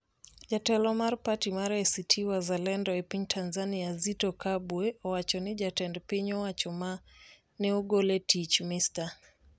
Jatelo mar parti mar ACT Wazalendo e piny Tanzania, Zitto Kabwe, owacho ni jatend piny owacho ma ne ogol e tich, Mr.